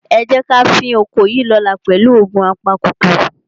Ẹ jẹ́ ká fín oko yìí lọ́la pẹ̀lú òògun apakòkòrò.